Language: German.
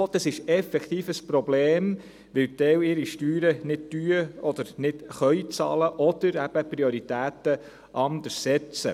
Es ist effektiv ein Problem, weil einige Leute ihre Steuern nicht bezahlen oder nicht bezahlen können, oder die Prioritäten anders setzen.